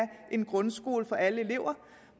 en grundskole for alle elever